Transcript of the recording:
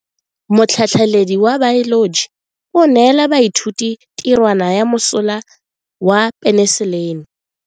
Motlhatlhaledi wa baeloji o neela baithuti tirwana ya mosola wa peniselene.